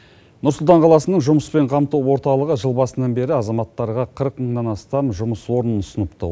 нұр сұлтан қаласының жұмыспен қамту орталығы жыл басынан бері азаматтарға қырық мыңнан астам жұмыс орнын ұсыныпты